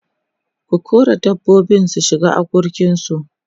ku kora dabbobin su shiga akurkin su!